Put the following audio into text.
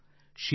್ಚರಿಸಬೇಕು